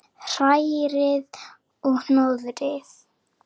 Hrærið og hnoðið.